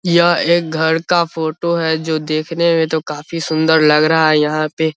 यह एक घर का फोटो है जो देखने में तो काफी सुंदर लग रहा है यहाँ पे --